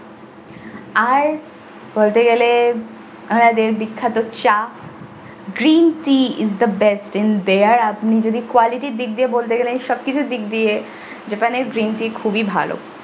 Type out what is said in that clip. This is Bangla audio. আর বলতে গেলে ওনাদের বিখ্যাত চা green tea is the best in there আপনি যদি quality এর দিক দিয়ে বলতে গেলেন সব কিছুর দিক দিয়ে japan এর green tea খুবই ভালো।